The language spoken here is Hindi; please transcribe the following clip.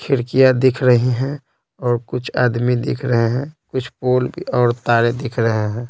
खिड़कियाँ दिख रही हैं और कुछ आदमी दिख रहे हैं कुछ पोल और तारे दिख रहे हैं।